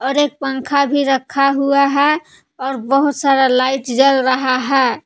और एक पंखा भी रखा हुआ है और बहुत सारा लाइट जल रहा है।